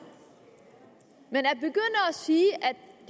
men at begynde at sige